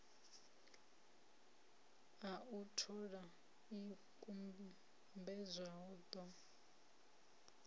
a u thola ikumbedzwa ḓo